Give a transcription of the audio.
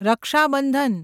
Raksha Bandhan